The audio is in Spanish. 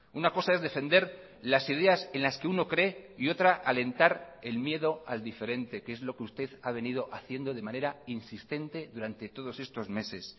una cosa es defender las ideas en las que uno cree y otra alentar el miedo al diferente que es lo que usted ha venido haciendo de manera insistente durante todos estos meses